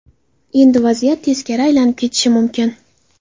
Endi vaziyat teskari aylanib ketishi mumkin.